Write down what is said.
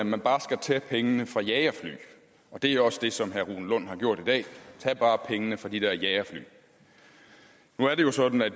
man bare skal tage pengene fra jagerfly og det er også det som herre rune lund har gjort i dag tag bare pengene fra de der jagerfly nu er det jo sådan at